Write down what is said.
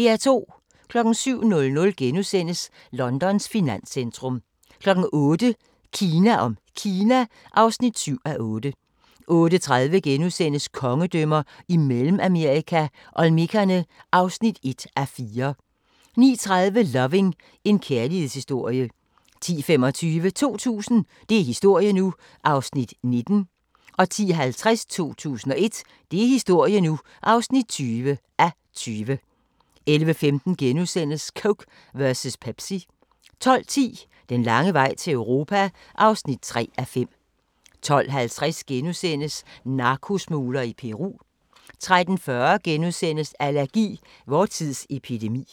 07:00: Londons finanscentrum * 08:00: Kina om Kina (7:8) 08:30: Kongedømmer i Mellemamerika – Olmekerne (1:4)* 09:30: Loving – en kærlighedshistorie 10:25: 2000 – det er historie nu! (19:20) 10:50: 2001 – det er historie nu! (20:20) 11:15: Coke versus Pepsi * 12:10: Den lange vej til Europa (3:5) 12:50: Narkosmugler i Peru * 13:40: Allergi: Vor tids epidemi *